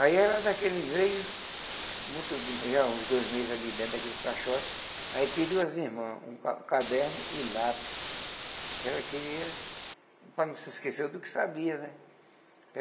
Aí ela, naquele meio, muito do já uns dois meses ali dentro daquele caixote, aí pediu às irmãs um ca caderno e lápis, que ela queria, para não se esquecer do que sabia, né?